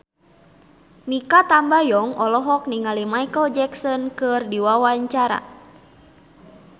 Mikha Tambayong olohok ningali Micheal Jackson keur diwawancara